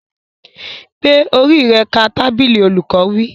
Gbé orí rẹ ka tábìlì! Olùkọ́ wí.